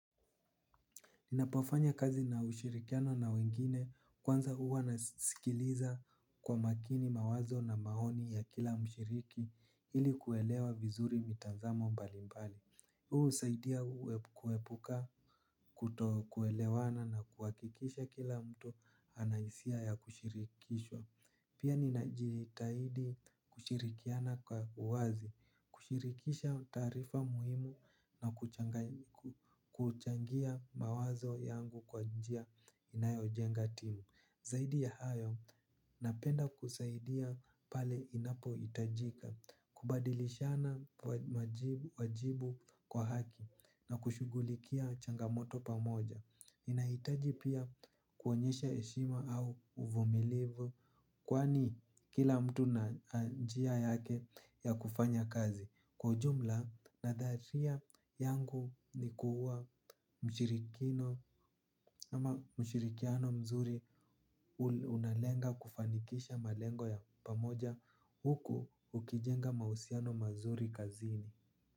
Ninapofanya kazi na ushirikiano na wengine kwanza huwa nasikiliza kwa makini mawazo na maoni ya kila mshiriki ili kuelewa vizuri mitazamo mbalimbali. Huu husaidia kuepuka kuto kuelewana na kuhakikisha kila mtu ana hisia ya kushirikishwa. Pia ninajitahidi kushirikiana kwa uwazi, kushirikisha taarifa muhimu na kuchangia mawazo yangu kwa njia inayojenga timu. Zaidi ya hayo, napenda kusaidia pale inapohitajika, kubadilishana wajibu kwa haki na kushughulikia changamoto pamoja ninahitaji pia kuonyesha heshima au uvumilivu kwani kila mtu ana njia yake ya kufanya kazi. Kwa ujumla nadharia yangu ni kuwa mshirikiano mzuri unalenga kufanikisha malengo ya pamoja huku ukijenga mahusiano mazuri kazini.